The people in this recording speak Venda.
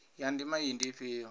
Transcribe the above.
ya ndima iyi ndi ifhio